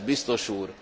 Tisztelt Biztos úr!